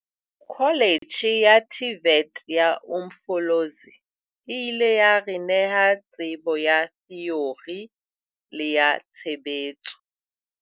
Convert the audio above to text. Kholetjhe ya TVET ya Umfolozi e ile ya re neha tsebo ya theori le ya tshebetso.